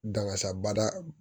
Dangasabada